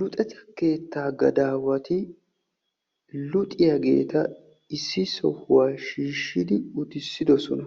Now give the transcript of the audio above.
Luxetta keettaa gadawati luxxiyaageta issi sohuwaa shiishshidi uttisidosona.